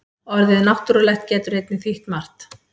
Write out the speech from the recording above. Orðið náttúrulegt getur einnig þýtt margt.